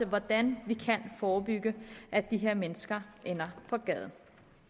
hvordan vi kan forebygge at de her mennesker ender på gaden